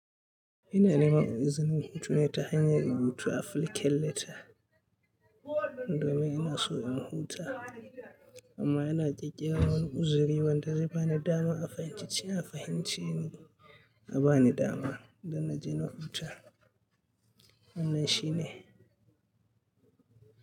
Ina nema izinin hutu ne ta hanyar rubuta afilikelleta. Domin ina so in huta amma ina kekkewar uzuri wanda zai bani damar a fahimci cewa fahimcin abani dama idan na je na huta. Wannan shi ne.